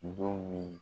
Don min